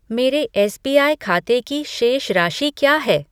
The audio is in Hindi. मेरे एसबीआई खाते की शेष राशि क्या है?